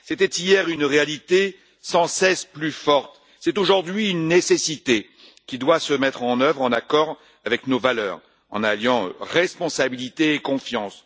C'était hier une réalité sans cesse plus forte, c'est aujourd'hui une nécessité qui doit se mettre en œuvre, en accord avec nos valeurs, en alliant responsabilité et confiance.